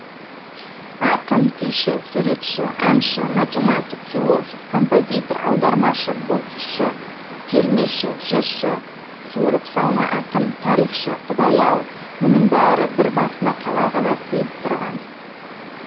ақын күйші суретші әнші математик философ композитор аудармашы боксшы термеші жыршы суырыпсалма ақын тарихшы құдай ау мұның бәрі бір басына қалай ғана сыйып тұрған